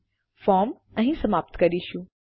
આપણે ફોર્મ અહીં સમાપ્ત કરીશું